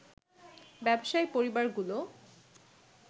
ব্যবসায়ী পরিবারগুলো